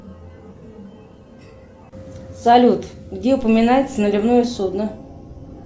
салют где упоминается наливное судно